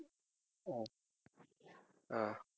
ஆஹ்